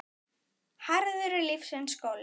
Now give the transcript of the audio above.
Harður er lífsins skóli.